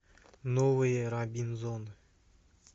новые робинзоны